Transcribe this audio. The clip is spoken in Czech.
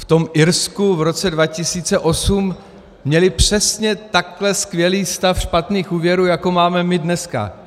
V tom Irsku v roce 2008 měli přesně takhle skvělý stav špatných úvěrů, jako máme my dneska.